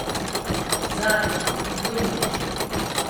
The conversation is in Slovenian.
Zadnja, do jutrišnje.